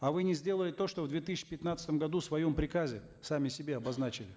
а вы не сделали то что в две тысячи пятнадцатом году в своем приказе сами себе обозначили